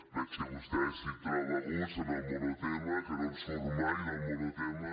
veig que vostè s’hi troba a gust en el monotema que no en surt mai del monotema